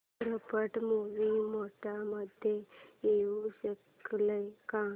चित्रपट movie mode मध्ये येऊ शकेल का